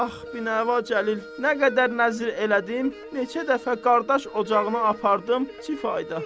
Ax, binəva Cəlil, nə qədər nəzir elədim, neçə dəfə qardaş ocağına apardım, zayda.